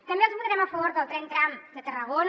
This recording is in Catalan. també els votarem a favor del tren tram de tarragona